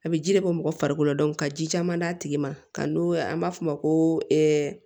A bɛ ji de bɔ mɔgɔ farikolo la ka ji caman d'a tigi ma ka don an b'a fɔ o ma ko